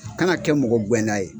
Kana kɛ mɔgɔ gɛnda ye